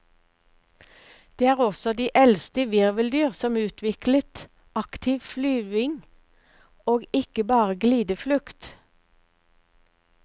De er også de eldste virveldyr som utviklet aktiv flyving og ikke bare glideflukt.